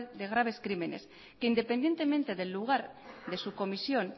de graves crímenes que independientemente del lugar de su comisión